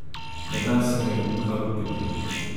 Ne da se me ukalupiti.